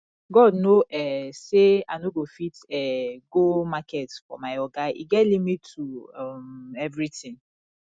god know um say i no go fit um go market for my oga e get limit to um everything